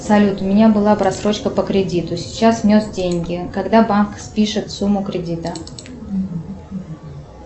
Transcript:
салют у меня была просрочка по кредиту сейчас внес деньги когда банк спишет сумму кредита